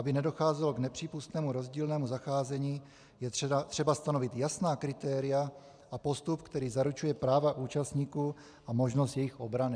Aby nedocházelo k nepřípustnému rozdílnému zacházení, je třeba stanovit jasná kritéria a postup, který zaručuje práva účastníků a možnost jejich obrany.